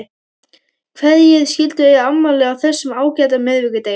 Hverjir skyldu eiga afmæli á þessum ágæta miðvikudegi?